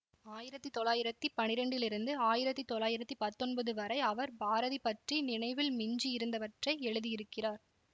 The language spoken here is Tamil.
ஆயிரத்தி தொள்ளாயிரத்தி பனிரெண்டிலிருந்து ஆயிரத்தி தொள்ளாயிரத்தி பத்தொன்பது வரை அவர் பாரதி பற்றி அவர் நினைவில் மிஞ்சி இருந்தவற்றை எழுதியிருக்கிறார்